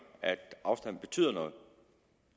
at afstanden betyder noget